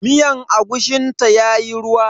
Miyar agushin ta yayi ruwa.